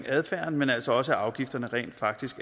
adfærden men altså også at afgifterne faktisk